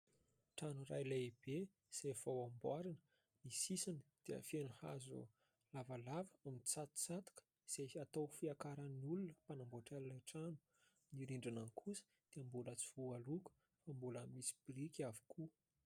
Trano iray lehibe izay vao amboarina, ny sisiny dia feno hazo lavalava mitsatosatoka izay atao fiakaran'ny olona mpanamboatra ilay trano ; ny rindrina kosa dia mbola tsy voaloko fa mbola misy biriky avokoa.